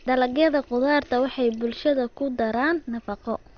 Dalagyada khudaartu waxay bulshada ku daraan nafaqo.